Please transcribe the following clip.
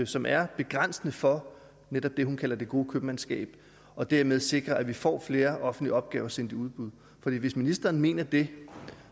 som er begrænsende for netop det hun kalder det gode købmandskab og dermed vil sikre at vi får flere offentlige opgaver sendt i udbud for hvis ministeren mener det